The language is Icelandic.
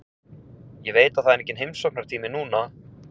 Ég veit að það er enginn heimsóknartími núna.